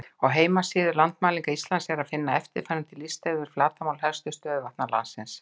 Á heimasíðu Landmælinga Íslands er að finna eftirfarandi lista yfir flatarmál helstu stöðuvatna landsins: